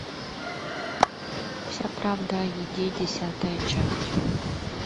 вся правда о еде десятая часть